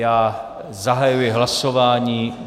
Já zahajuji hlasování.